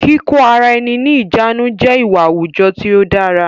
Kíkó ara ẹni ní ìjánu jẹ́ ìwà àwùjọ tí ó dára